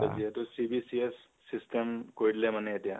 যিহেতু CBCS system কৰি দিলে মানে এতিয়া